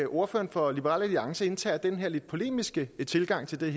ordføreren for liberal alliance indtager den her lidt polemiske tilgang til det